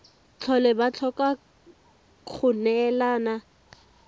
tlhole ba tlhoka go neelana